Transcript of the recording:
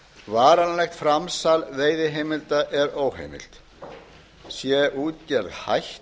varanlegt framsal veiðiheimilda er óheimilt sé útgerð hætt